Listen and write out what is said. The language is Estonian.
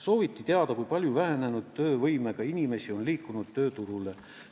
Sooviti teada, kui palju vähenenud töövõimega inimesi on liikunud tööturule.